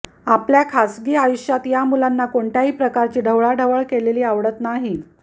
आपल्या खासगी आयुष्यात या मुलांना कोणत्याही प्रकारची ढवळाढवळ केलेली आवडत नाही